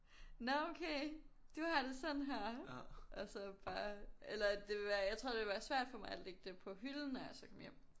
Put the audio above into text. Nå okay du har det sådan her og så bare eller det ville være jeg tror det ville være svært for mig at så lægge det på hylden når jeg så kom hjem